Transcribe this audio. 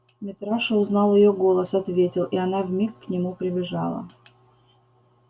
митраша узнал её голос ответил и она вмиг к нему прибежала